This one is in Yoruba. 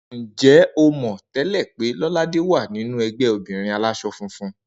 Ǹjé̩ o mò̩ té̩lè̩ pé Ló̩ládè wà nínú e̩gbé̩ obìnrin alás̩o̩ funfun?